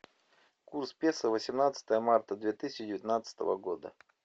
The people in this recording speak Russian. курс песо восемнадцатое марта две тысячи девятнадцатого года